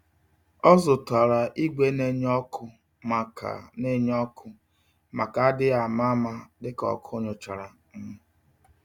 Ọ zụtara igwe nenye ọkụ, maka nenye ọkụ, maka adighi ama-ama, dịka ọkụ nychara um